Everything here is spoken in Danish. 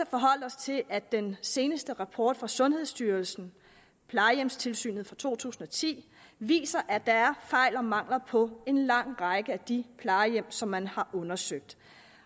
forholde os til at den seneste rapport fra sundhedsstyrelsen plejehjemstilsynet to tusind og ti viser at der er fejl og mangler på en lang række af de plejehjem som man har undersøgt